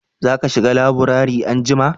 za ka shiga laburare anjima?